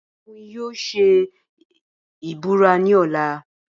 Balógun yóò ṣe ìbúra ní ọ̀la